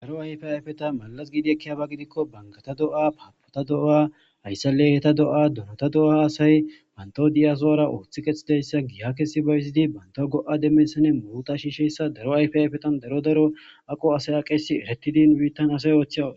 Daro ayfe ayfeta malas giidi ekkiyaba gidikko bangata do7a paapota do7a hayssalley heta do7a durata do7a haasay bantao diyazoara ooththi kexhidayssa giiha kesi bayzidi banta go7a demmessane muuta shiisheyssa daro ayfe ayfetan daro daro aqo asaya qeesi eretidin biittan asay oothchiaw.